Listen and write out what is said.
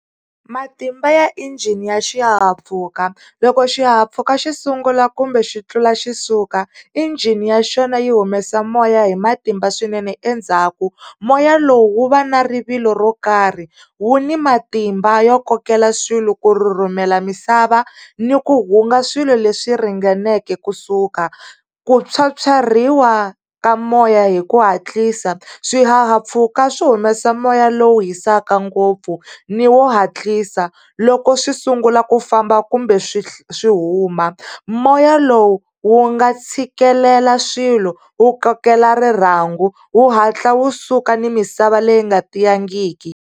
Matimba ya engine ya xihahampfhuka loko xihahampfhuka xi sungula kumbe xi tlula xi suka engine ya xona yi humesa moya hi matimba swinene endzhaku. Moya lowu wu va na rivilo ro karhi, wu ni matimba yo kokela swilo, ku rhurhumela misava ni ku hunga swilo leswi ringaneke ku suka. Ku tshwatshwariwa ka moya hi ku hatlisa. Swihahampfhuka swi humesa moya lowu hisaka ngopfu ni wo hatlisa loko swi sungula ku famba kumbe swi swi humu. Moya lowu wu nga tshikelela swilo wu kokela rirhangu wu hatla wu suka ni misava leyi nga tiyangiki.